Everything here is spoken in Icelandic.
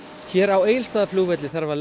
hér á Egilsstaðaflugvelli þarf að